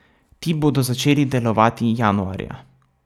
Ti bodo začeli delovati januarja.